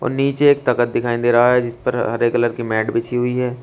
और नीचे एक तखत दिखाई दे रहा है जिस पर हरे कलर की मैट भी बिछी हुई है।